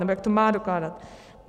Nebo jak to má dokládat?